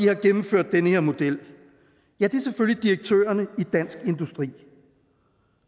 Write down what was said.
har gennemført den her model ja det er selvfølgelig direktørerne i dansk industri